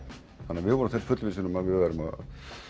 við vorum fullvissir um að við værum að